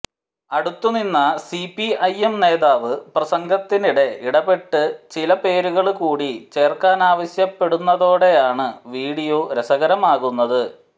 അടുത്ത നിന്ന സിപിഐഎം നേതാവ് പ്രസംഗത്തിനിടെ ഇടപെട്ട് ചിലപേരുകള് കൂടി ചേര്ക്കാനാവശ്യപ്പെടുന്നതോടെയാണ് വീഡിയോ രസകരമാകുന്നത്